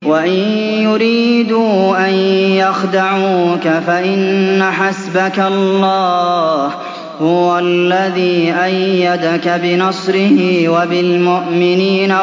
وَإِن يُرِيدُوا أَن يَخْدَعُوكَ فَإِنَّ حَسْبَكَ اللَّهُ ۚ هُوَ الَّذِي أَيَّدَكَ بِنَصْرِهِ وَبِالْمُؤْمِنِينَ